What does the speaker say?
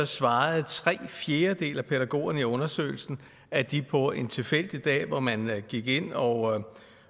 svarede tre fjerdedele af pædagogerne i undersøgelsen at de på en tilfældig dag hvor man gik ind og